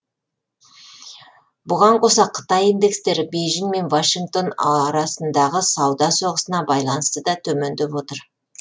бұған қоса қытай индекстері бейжің мен вашингтон арасындағы сауда соғысына байланысты да төмендеп отыр